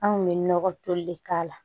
An kun bɛ nɔgɔ toli de k'a la